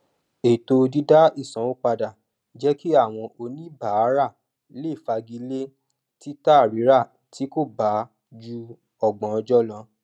ètò dídá ìsanwó padà jẹ kí àwọn oníbàárà lè fagilé títàrírà tí kò bá ju ọgbọn ọjọ lọ